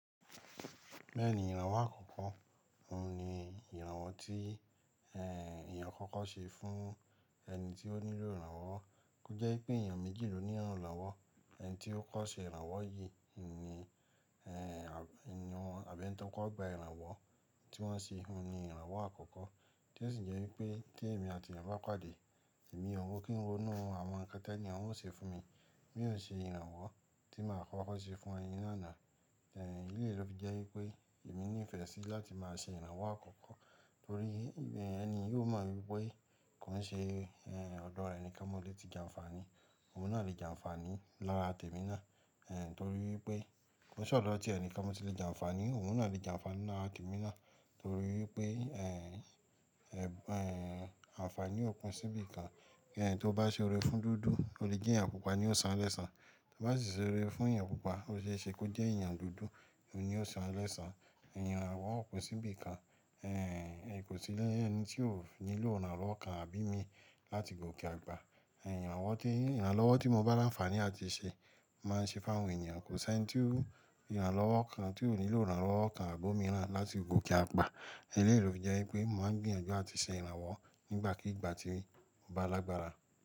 Bẹ́ẹ̀ni ìrànwọ́ àkọ́kọ́ òun ni ìrànwọ́ tí, ehn, èèyàn kọ́kọ́ ṣe fún ẹni tí ó nílò ìrànwọ́. Ó jẹ́ pé èèyàn méjì ló ní ìrànlowọ́, ẹni tí ó kọ́ ṣe ìrànwọ́ yìí ni, ehn, àbẹ́ni wọn tọkọ gba ìrànwọ́ tí wọ́n ṣe, òun ni ìrànwọ́ àkọ́kọ́. Tí ó sì jẹ́ wípé tí èmi àti èèyàn bá pàdé, èmi ò wó kí n wo inú àwọn ǹkan tí èèyàn ó ṣe fún mi, mi ò ṣe ìrànwọ́ tí màá kọ́kọ́ ṣe fún ẹni náà náà. Eh, éèló fi jẹ́ wípé èmi ní ìfẹ́ sí láti máa ṣe ìrànwọ́ àkọ́kọ́ torí ẹni yóò mọ̀ wípé kò ń ṣe, ehn, ọ̀dọ̀ ẹni kan móòlè tí jẹ àǹfààní, òun náà lè jẹ àǹfààní lára tèmi náà, ehn, torí wípé kò ṣe ọ̀dọ̀ ọti ẹni kan móòlè tí lè jẹ àǹfààní, òun náà lè jẹ àǹfààní lára tèmi náà torí wípé, ehn, eh, ehn, àǹfààní ò pin sí ibìkan. Ẹni tí ó bá ṣe ore fún dúdú ó le jẹ́ èèyàn pupa ni ó san lẹ́san. Bá sì ṣe ore fún èèyàn pupa, ó ṣe é ṣe kó jẹ́ èèyàn dúdú oun ni ó san o lẹ́san. Ìrànwọ́ ò pin sí ibìkan. Eh, kò sí lé ẹni tí ó nílò ìrànlọ́wọ́ kan àbí mi láti gòkè àgbà. Ìrànwọ́ tí, ìrànlọ́wọ́ tí mo bá láǹfààní àti ṣe máa ṣe fún àwọn èèyàn, kò sí ẹni tí ìrànlọ́wọ́ kan tí ò nílò ìrànlọ́wọ́ kan àbómi rán láti gòkè àgbà. Eléèlo fi jẹ́ wípé mò ń gbìyànjú àti ṣe ìrànwọ́ nígbàkígbà tí mo bá lágbára.